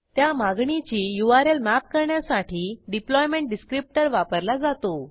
त्या मागणीची URL map करण्यासाठी डिप्लॉयमेंट डिसक्रिप्टर वापरला जातो